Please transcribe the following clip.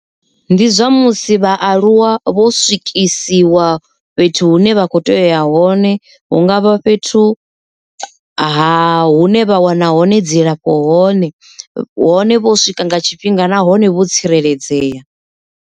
Ndi zwa musi vhaaluwa vho swikisiwa fhethu hune vha kho tea uya hone, hu ngavha fhethu ha hune vha wana hone dzilafho hone hone vho swika nga tshifhinga na hone vho tsireledzea.